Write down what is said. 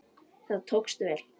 Það tókst vel.